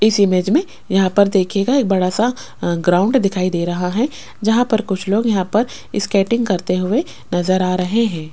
इस इमेज में यहां पर देखिएगा एक बड़ा सा आ ग्राउंड दिखाई दे रहा है जहां पर कुछ लोग यहां पर स्केटिंग करते हुए नजर आ रहे हैं।